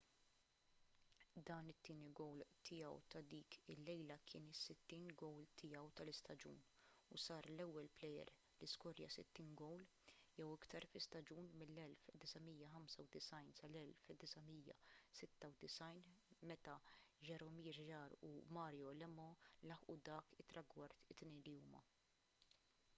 dan it-tieni gowl tiegħu ta’ dik il-lejla kien is-60 gowl tiegħu tal-istaġun u sar l-ewwel plejer li skorja 60 gowl jew iktar fi staġun mill-1995-96 meta jaromir jagr u mario lemieux laħqu dak it-tragward it-tnejn li huma